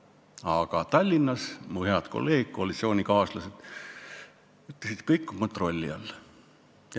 Aga Tallinnas mu head kolleegid, koalitsioonikaaslased ütlesid, et kõik on kontrolli all.